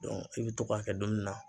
i bɛ to k'a kɛ dumuni na